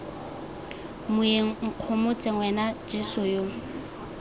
moeng nkgomotse wena jeso yo